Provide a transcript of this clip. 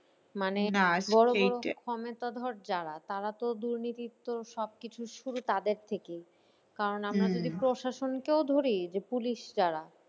মানে যারা তারা তো দুর্নীতির তো সব কিছু শুরু তাদের থেকেই। কারণ আমরা যদি প্রশাসনকেও ধরি যে police যারা